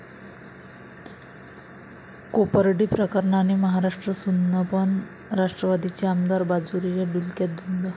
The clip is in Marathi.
कोपर्डी प्रकरणाने महाराष्ट्र सुन्न, पण राष्ट्रवादीचे आमदार बाजोरिया डुलक्यात धुंद